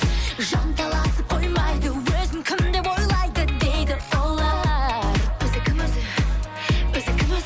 жанталасып қоймайды өзін кім деп ойлайды дейді олар